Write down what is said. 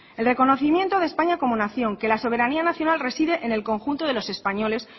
el reconocimiento de españa como nación que la soberanía nacional reside en el conjunto de los españoles